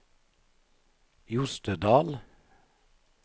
Jostedal